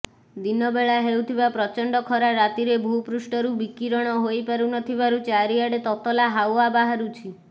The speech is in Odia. ଦିନବେଳା ହେଉଥିବା ପ୍ରଚଣ୍ଡ ଖରା ରାତିରେ ଭୂପୃଷ୍ଠରୁ ବିକିରଣ ହୋଇପାରୁନଥିବାରୁ ଚାରିଆଡେ ତତଲା ହାୱା ବାହାରୁଛି